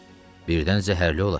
Birdən zəhərli olar.